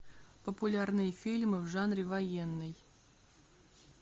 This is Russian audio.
популярные фильмы в жанре военный